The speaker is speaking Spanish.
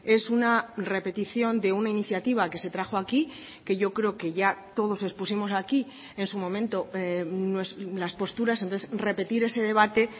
es una repetición de una iniciativa que se trajo aquí que yo creo que ya todos expusimos aquí en su momento las posturas entonces repetir ese debate